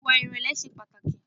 Ìwà ìrẹ̀lẹ̀ ṣe pàtàkì.